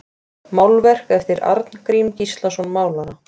Málverk eftir Arngrím Gíslason málara